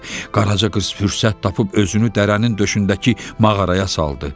Qaraca qız fürsət tapıb özünü dərənin döşündəki mağaraya saldı.